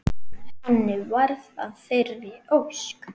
Henni varð að þeirri ósk.